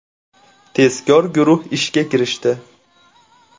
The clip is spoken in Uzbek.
Tezkor guruh ishga kirishdi.